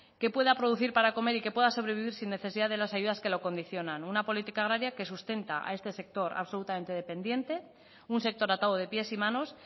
que pueda producir para comer y que pueda sobrevivir sin necesidad de las ayudas que lo condicionan una política agraria que sustenta a este sector absolutamente dependiente un sector atado de pies y manos